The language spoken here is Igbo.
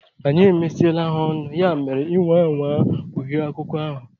Anyị emesiele ha ọnụ, ya mere ị nwaa anwaa kpughe akụkọ ahụ!